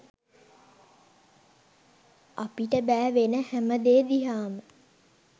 අපිට බෑ වෙන හැම දේ දිහාම